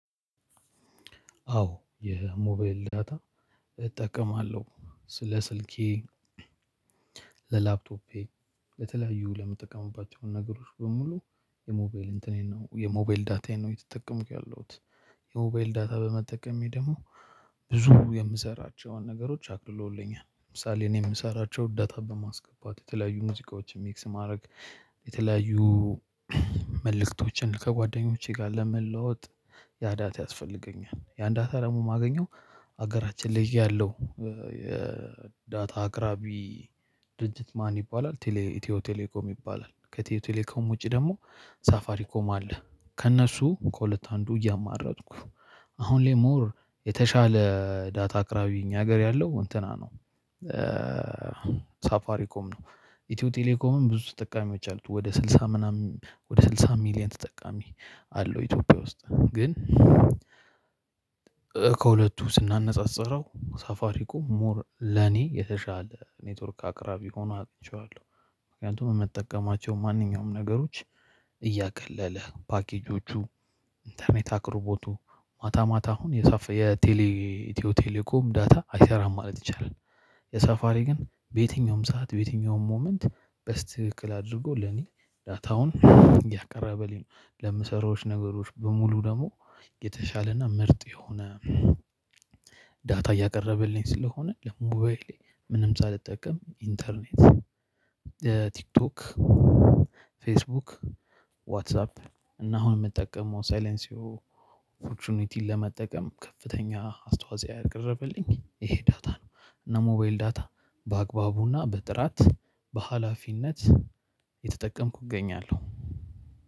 አዎ የሞባይል ዳታ እጠቀማለሁ። ስለ ስልኬ። ለላፕቶፔ ለተለያዩ ለምትጠቀሙባቸው ነገሮች በሙሉ የሞባይል እንትኔን ነው የሞባይል ዳታዬን ነው እየተጠቀምኩ ያለሁት። የሞባይል ዳታ በመጠቀሜ ደግሞ ብዙ የምሰራቸውን ነገሮች አቅልሎልኛል። ለምሳሌ እኔ የምሰራቸው ዳታ በማስገባት የተለያዩ ሙዚቃዎችን ሚክስ ማድረግ የተለያዩ መልእክቶችን ከጓደኞቼ ጋር ለመለዋወጥ። ያ ዳታ ያስፈልገኛል። ያን ዳታ ደግሞ የማገኘው ሀገራችን ላይ እያለሁ የዳታ አቅራቢ ድርጅት ማን ይባላል? ቴሌ ኢትዮ ቴሌኮም ይባላል። ከቴሌኮም ውጪ ደግሞ ሳፋሪ ኮም አለ። ከእነሱ ከሁለት አንዱ እያማረጥኩ አሁን ላይ ሞር የተሻለ ዳታ አቅራቢ እኛ ሀገር ያለው እንትና ነው። ሳፋሪኮም ነው ኢትዮ ቴሌኮምም ብዙ ተጠቃሚዎች አሉት ወደ ስልሳ ምናምን ወደ ስልሳ ሚሊየን ተጠቃሚ አለው። ኢትዮጵያ ውስጥ ግን። ከሁለቱ ስናነጻጽረው ሳፋሪኮም ሞር ለኔ የተሻለ ኔትወርክ አቅራቢ ሆኖ አኝቼዋለሁ። ምክንያቱም ምጠቀማቸው ማንኛውም ነገሮች እያቀለለ ፓኬጆቹ ኢንተርኔት አቅርቦቱ ማታ ማታ አሁን የፋ የቴሌ ኢትዮ ቴሌኮም ዳታ አይሰራም ማለት ይቻላል። የሳፋሪ ግን በየትኛውም ሰዓት በየትኛውም ሞመንት በስተክክል አድርጎ ለኔ ዳታውን እያቀረበልኝ ነው። ለምሰራዎች ነገሮች በሙሉ ደግሞ የተሻለና ምርጥ የሆነ ዳታ እያቀረበልኝ ስለሆነ። ለሞባይሌ ምንም ሳልጠቀም ኢንተርኔት ቲክቶክ፣ ፌስቡክ፣ ዋትሳፕ እና አሁን የምጠቀመው ሳይለንሲዎ ኦፖርቹኒቲን ለመጠቀም ከፍተኛ አስተዋጽኦ ያቀረበልኝ ይሄ ዳታ ነው። እና ሞባይል ዳታ በአግባቡና በጥራት በሃላፊነት እየተጠቀምኩ እገኛለሁ።